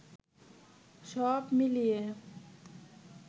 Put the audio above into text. সব মিলিয়ে